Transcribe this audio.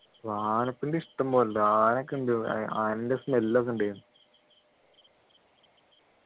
ആനപ്പിണ്ടി ഇഷ്ടം പോലെയുണ്ട് ആനയൊക്കെ ആനൻ്റെ smell ഒക്കെ ഉണ്ടായിരുന്നു